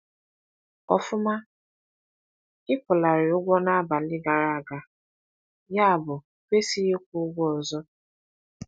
Ọfụma, ị kwụlarị ụgwọ n’abalị gara aga, yabụ ịkwesịghị ịkwụ ụgwọ ọzọ.